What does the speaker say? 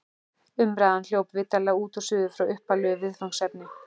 Umræðan hljóp vitanlega út og suður frá upphaflegu viðfangsefni.